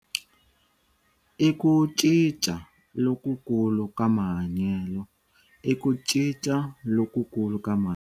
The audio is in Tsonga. l ku cinca lokukulu ka mahanyelo. l ku cinca lokukulu ka mahanyelo.